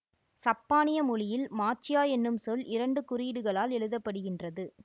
சப்பானிய மொழியில் மாச்சியா என்னும் சொல் இரண்டு குறியீடுகளால் எழுதப்படுகின்றது